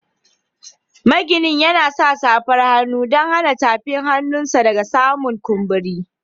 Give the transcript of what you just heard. Maginin yana sa safan hannu dan hana tafin hannun sa daga samun kumburi.